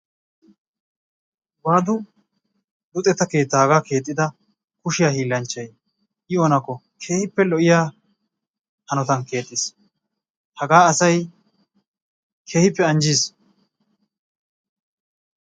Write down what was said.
waadu luxetta keettaa hagaa keexxida kushiya hiilanchchay i oonakko kehippe lo'iya hanotan keexxiis. hagaa asay keehippe anjjiis.